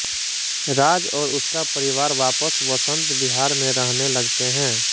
राज और उसका परिवार वापस वसंत विहार में रहने लगते हैं